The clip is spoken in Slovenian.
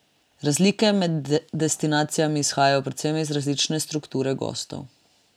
Razlike med destinacijami izhajajo predvsem iz različne strukture gostov.